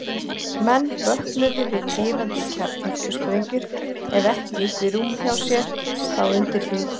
Menn vöknuðu við tifandi kjarnorkusprengjur, ef ekki uppi í rúminu hjá sér, þá undir því.